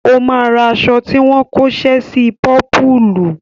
Ó máa ra aṣọ tí wọ́n kóṣẹ́ sí i pọ́pùùlù.